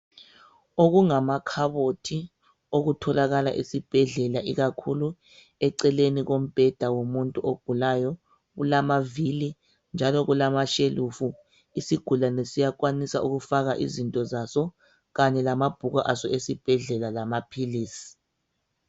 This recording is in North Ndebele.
Okungamakhabothi okutholakala esibhedlela ikakhulu eceleni kombheda womuntu ogulayo kulamavili njalo kulama shelufu isigulane siyakwanisa ukufaka izinto zaso kanye lamabhuku aso esibhedlela lamaphilisi.